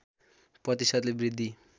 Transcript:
प्रतिशतले वृद्धि